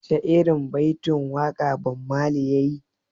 Wace irin baitin waƙa Bob Marley yayi?